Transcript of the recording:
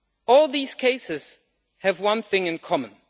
All these cases have one thing in common.